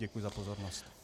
Děkuji za pozornost.